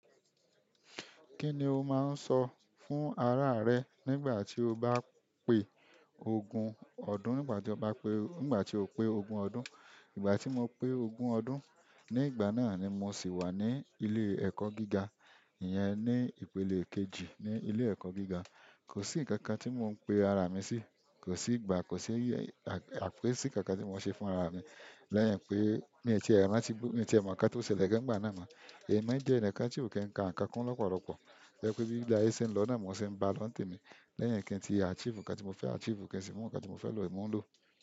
Kí ni o máa ń sọ fún ara rẹ nígbà tí o bá pé ogún ọdún, nígbà tí o bá pé, nígbà tí o pé ogún ọdún? Ìgbà ti mo pe ogun ọdún, nigbana ni mo si wa ni ile eko gíga iyen ni ipele kejì ni ile eko gíga ko si nkankan ti mo pe ara mi si. Kò sí ìgbà, kò sí àpè sí nkankan tí mò ń ṣe fún ara mi. Lẹ́yìn pé mí tíì e rántí, mí ò tí e mọ nǹkan tí ó ṣẹlẹ̀ gan nígbà náà mọ́. Ẹ̀ mi jẹ́ enikan tí ò kí n ka nǹkan kunnu borobo. To je pé bí ile ayé ṣe ń lọ náà mo se ń bá a lọ́ǹ temi. Lẹ́yìn kí n tí achieve nǹkan tí mo fẹ́ achieve, kí n sì mọ nǹkan tí mo fẹ́ lọ̀, mò ń lọ̀.